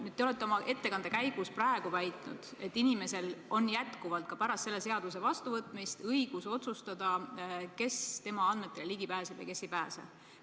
Nüüd te olete oma ettekande käigus väitnud, et inimesel on jätkuvalt ka pärast selle seaduse vastuvõtmist õigus otsustada, kes tema andmetele ligi pääseb ja kes ei pääse.